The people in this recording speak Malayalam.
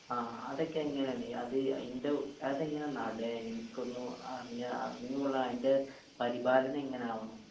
ആ ആ അതൊക്കെ എങ്ങനേണ് ഈ അത് അയിന്റെ അതെങ്ങനെ നടക്കുന്നു അറിഞ്ഞ അറിഞ്ഞ് കൊള്ളാൻ അയിന്റെ പരിപാലനെങ്ങനാവണം.